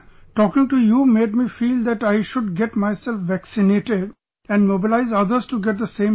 Talking to you made me feel that I should get myself vaccinated and mobilise others to get the same done